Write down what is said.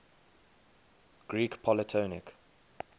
greek polytonic